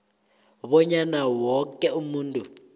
bonyana woke umuntu